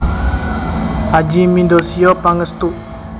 Adjie Mindosio Pangestu